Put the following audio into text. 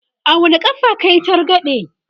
a wani ƙafa kayi targaɗe?